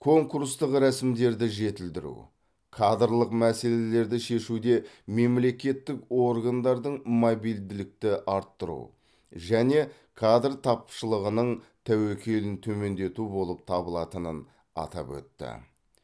конкурстық рәсімдерді жетілдіру кадрлық мәселелерді шешуде мемлекеттік органдардың мобильділікті арттыру және кадр тапшылығының тәуекелін төмендету болып табылатынын атап өтті